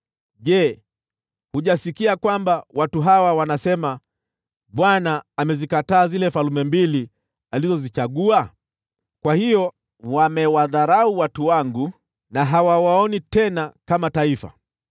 “Je, hujasikia kwamba watu hawa wanasema, ‘ Bwana amezikataa zile falme mbili alizozichagua?’ Kwa hiyo wamewadharau watu wangu, na hawawaoni tena kama taifa.